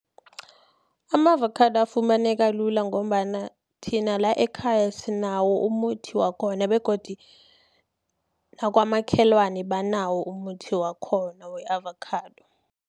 Ama-avakhado afumaneka lula, ngombana thina la ekhaya sinawo umuthi wakhona, begodi nakwamakhelwani banawo umuthi wakhona we-avakhado.